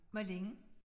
Hvor længe?